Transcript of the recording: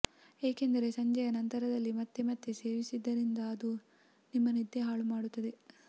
ಏಕೆಂದರೆ ಸಂಜೆಯ ನಂತರದಲ್ಲಿ ಮತ್ತೆ ಮತ್ತೆ ಸೇವಿಸುತ್ತಿದ್ದರೆ ಅದು ನಿಮ್ಮ ನಿದ್ದೆ ಹಾಳು ಮಾಡುತ್ತದೆ